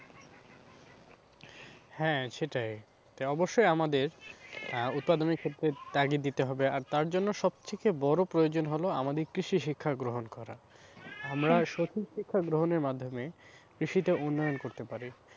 হ্যাঁ, সেটাই এটা অবশ্যই আমাদের আহ উৎপাদনের ক্ষেত্রে ত্যাগী দিতে হবে, আর তার জন্য সবথেকে বড়ো প্রয়োজন হলো আমাদের কৃষি শিক্ষা গ্রহণ করা আমরা সঠিক শিক্ষা গ্রহণের মাধ্যমে কৃষিতে উন্নয়ন করতে পারি।